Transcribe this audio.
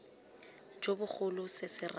jo bogolo se se raya